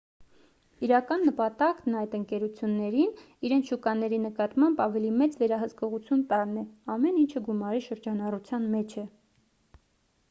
իրական նպատակն այդ ընկերություններին իրենց շուկաների նկատմամբ ավելի մեծ վերահսկողություն տալն է ամեն ինչը գումարի շրջանառության մեջ է